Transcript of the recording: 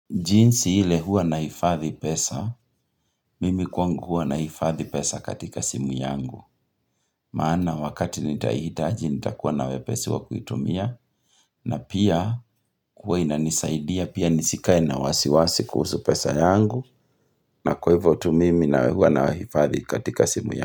Jinsi ile huwa nahifadhi pesa, mimi kwangu huwa nahifadhi pesa katika simu yangu. Maana wakati nitaihitaji nitakuwa na wepesi wa kuitumia na pia kuwa inanisaidia pia nisikae na wasiwasi kuhusu pesa yangu na kwa hivyo tu mimi na hua nahifadhi katika simu yangu.